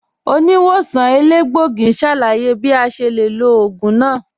Oníwòsàn èlégbògì n ṣálàyé bí à ṣe lè lọ̀ oogun náà